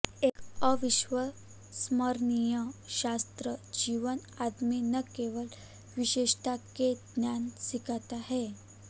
एक अविस्मरणीय छात्र जीवन आदमी न केवल विशेषता के ज्ञान सिखाता है